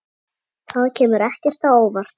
Það kemur ekki á óvart.